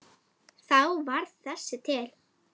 Þá varð þessi til.